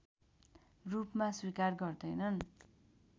रूपमा स्वीकार गर्दैनन्